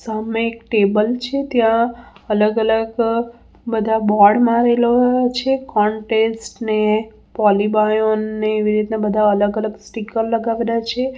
સામે એક ટેબલ છે ત્યાં અલગ-અલગ બધા બોર્ડ મારેલો છે કોન્ટેસ્ટ ને પોલીબાયોન ને એવી રીતના બધા અલગ અલગ સ્ટીકર લગાવેલા છે.